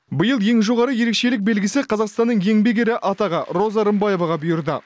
биыл ең жоғары ерекшелік белгісі қазақстанның еңбек ері атағы роза рымбаеваға бұйырды